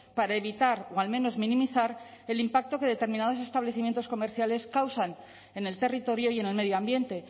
para evitar o al menos minimizar el impacto que determinados establecimientos comerciales causan en el territorio y en el medio ambiente